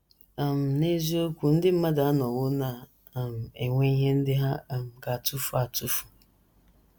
um N’eziokwu, ndị mmadụ anọwo na - um enwe ihe ndị ha um ga - atụfu atụfu.